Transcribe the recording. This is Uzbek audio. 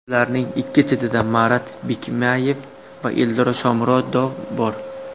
Ularning ikki chetida Marat Bikmayev va Eldor Shomurodov bor.